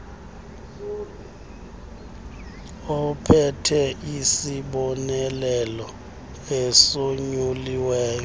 ophethe isibonelelo esonyuliweyo